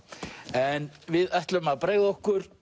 en við ætlum að bregða okkur